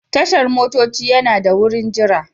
Tashar motoci yana da wurin jira.